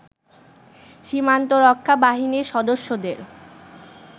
সীমান্তরক্ষা বাহিনীর সদস্যদের